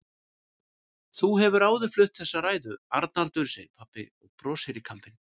Þú hefur áður flutt þessa ræðu, Arnaldur, segir pabbi og brosir í kampinn.